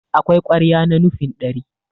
akwai ƙwarya na nufin ɗari